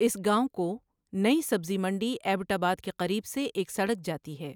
اس گاؤں کو نئی سبزی منڈی ایبٹ آباد کے قریب سے ایک سڑک جاتی ہے۔